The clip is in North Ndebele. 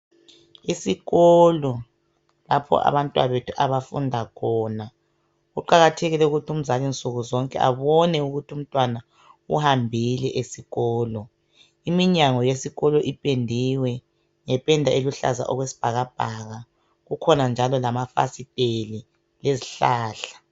Isikolo, lapho abantwabethu abafunda khona. Kuqakathekile ukuthi umzali nsuku zonke, abone ukuthi umntwana, uhambile esikolo. lminyango yesikolo ipendiwe. Ngependa eluhlaza, okwesibhajabhaka. Kukhona njalo lamafasiteli. Lezihlahla.